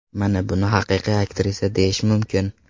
Mana buni haqiqiy aktrisa deyish mumkin.